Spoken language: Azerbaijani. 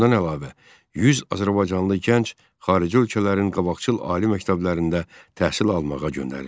Bundan əlavə 100 azərbaycanlı gənc xarici ölkələrin qabaqcıl ali məktəblərində təhsil almağa göndərildi.